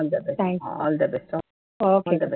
all the best, all the best பா.